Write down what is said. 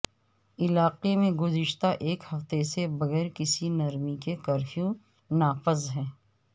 علاقے میں گزشتہ ایک ہفتے سے بغیر کسی نرمی کے کرفیو نافذ ہے